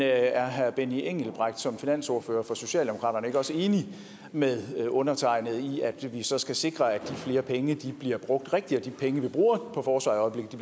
er herre benny engelbrecht som finansordfører for socialdemokratiet ikke også enig med undertegnede i at vi så skal sikre at de flere penge bliver brugt rigtigt og at de penge vi bruger på forsvaret i